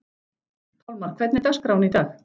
Pálmar, hvernig er dagskráin í dag?